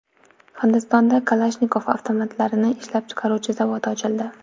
Hindistonda Kalashnikov avtomatlarini ishlab chiqaruvchi zavod ochildi.